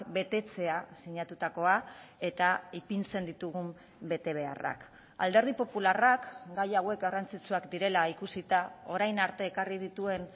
betetzea sinatutakoa eta ipintzen ditugun betebeharrak alderdi popularrak gai hauek garrantzitsuak direla ikusita orain arte ekarri dituen